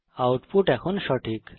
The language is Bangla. আউটপুট এখন সঠিক